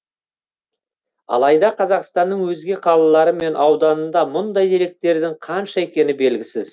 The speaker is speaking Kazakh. алайда қазақстанның өзге қалалары мен ауданында мұндай деректердің қанша екені белгісіз